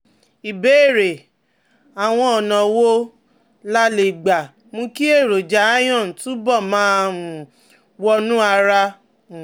Ìbéèrè: Àwọn ọ̀nà wo la lè lè gbà mú kí èròjà iron túbọ̀ máa um wọnú ara? um